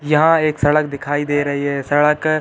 यहाँ एक सड़क दिखाई दे रही है सड़क --